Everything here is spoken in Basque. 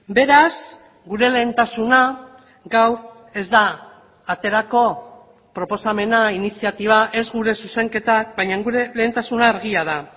beraz gure lehentasuna gaur ez da aterako proposamena iniziatiba ez gure zuzenketak baina gure lehentasuna argia da